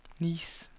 Nice